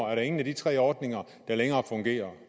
er der ingen af de tre ordninger der længere fungerer